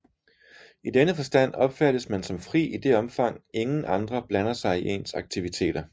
I denne forstand opfattes man som fri i det omfang ingen andre blander sig i ens aktiviteter